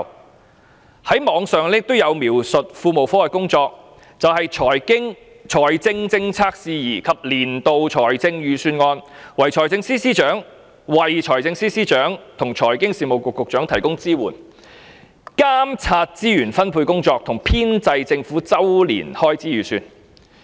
在互聯網上也有描述庫務科的工作，便是"就財政政策事宜及年度財政預算案為財政司司長與財經事務及庫務局局長提供支援；監察資源分配工作及編製政府周年開支預算"。